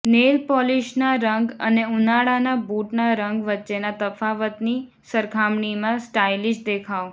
nail પોલીશના રંગ અને ઉનાળાના બૂટના રંગ વચ્ચેના તફાવતની સરખામણીમાં સ્ટાઇલિશ દેખાવ